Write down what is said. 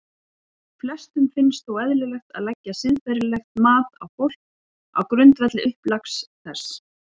Flestum finnst þó eðlilegt að leggja siðferðilegt mat á fólk á grundvelli upplags þess.